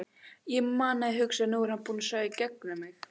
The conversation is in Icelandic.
Ég man að ég hugsaði: Nú er hann búinn að sjá í gegnum mig.